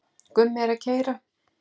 Gummi er að keyra.